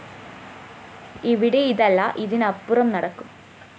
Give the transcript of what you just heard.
ഇവിടെ ഇതല്ല ഇതിനപ്പുറം നടക്കും